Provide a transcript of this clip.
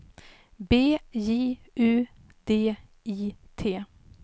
B J U D I T